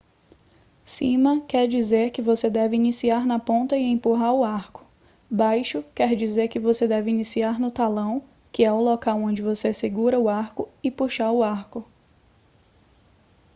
cima quer dizer que você deve iniciar na ponta e empurrar o arco; baixo quer dizer que você deve iniciar no talão que é o local onde você segura o arco e puxar o arco